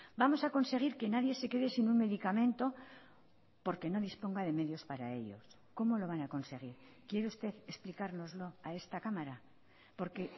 vamos a conseguir que nadie se quede sin un medicamento porque no disponga de medios para ellos cómo lo van a conseguir quiere usted explicárnoslo a esta cámara porque